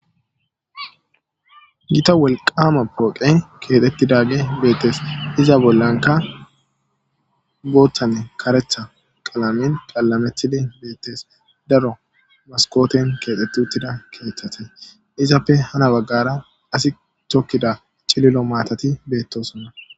gita welqama pooqe keexetti daage beettes iza bollanka booththanne karetha qalamin qallame tchili beettes daro maskooten keexeti uttida keeththate izappe hana baggara asi chokkida cililo maatati beettosonna